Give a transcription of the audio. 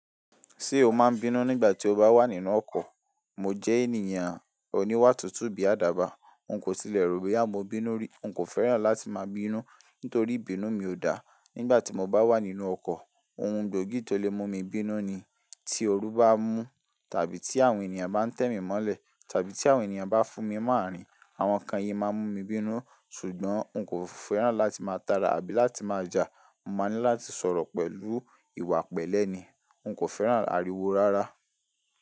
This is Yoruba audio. Ṣé o máa ń bínú nígbà tí o bá wà nínú ọkọ̀? Mo jẹ́ ènìyàn oníwà tútù bí àdàbà. N kò tilẹ̀ ro bóyá mọ́ bínú rí. N kò fẹ́ràn láti máa bínú nítorí ìbínú mi ò dá. Nígbà tí mo bá wà nínú ọkọ̀, ohun gbóògì tó lè mú mi bínú ni tí oru bá mú tàbí tí àwọn ènìyàn bá ń tẹ́ mi mọ́lẹ̀ tàbí tí àwọn ènìyàn bá fún mi mọ́ àrìn. Àwọn kan yìí máa ń mú mi bínú, ṣùgbọ́n n kò fẹ́ràn láti máa tara àbí láti máa jà. Mo máa ń ní láti sọ̀rọ̀ pẹ̀lú ìwà pẹ̀lẹ́ ni. N kò fẹ́ràn ariwo rárá.